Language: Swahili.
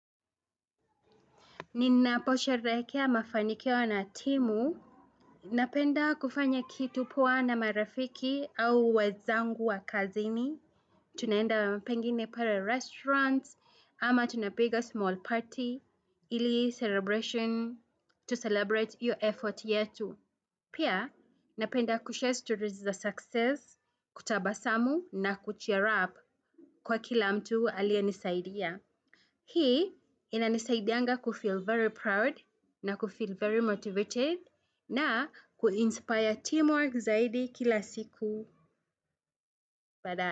Ninaposherehekea mafanikio na timu, napenda kufanya kitu poa na marafiki au wenzangu wa kazini. Tunaenda pengine pale restaurant, ama tunapiga small party, ili celebration tu celebrate hiyo effort yetu. Pia, napenda kushare stories za success, kutabasamu na kucheer up kwa kila mtu aliye nisaidia. Hii ina nisaidianga kufeel very proud na kufeel very motivated na kuinspire teamwork zaidi kila siku. Badaaye.